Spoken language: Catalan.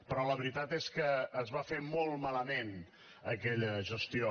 però la veritat és que es va fer molt malament aquella gestió